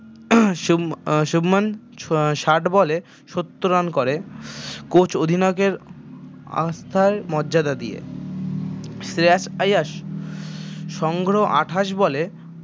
শুভ আহ শুভমান ষাট বলে সত্তর run করে কোচ অধিনায়কের আস্থায় মর্যাদা দিয়ে শ্রেয়াস আইয়াস সংগ্রহ আটাশ বলে